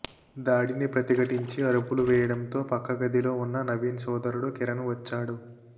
దాడిని ప్రతిఘటించి అరుపులు వేయడంతో పక్క గదిలో ఉన్న నవీన్ సోదరుడు కిరణ్ వచ్చాడు